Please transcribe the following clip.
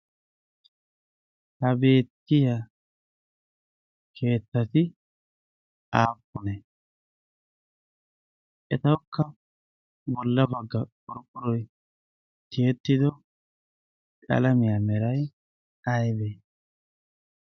ha beettiya keettati aapponee etawukka bolla bagga qorphphoroy tiyettido qalamiyaa meray aybee